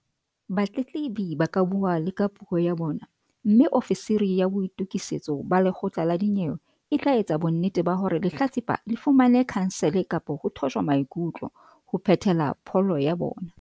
Batletlebi ba ka bua le ka puo ya bona mme ofisiri ya boitokisetso ba lekgotla la dinyewe e tla etsa bonnete ba hore lehlatsipa le fumane khansele kapa ho thojwa maikutlo, ho phethela pholo ya bona.